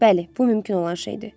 Bəli, bu mümkün olan şeydir.